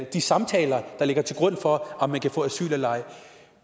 de samtaler der ligger til grund for om man kan få asyl eller ej